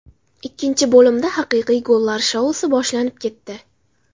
Ikkinchi bo‘limda haqiqiy gollar shousi boshlanib ketdi.